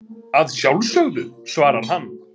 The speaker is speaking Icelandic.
Að sjálfsögðu, svarar hann.